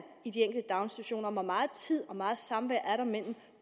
i de daginstitutioner og hvor meget tid og hvor meget samvær er der mellem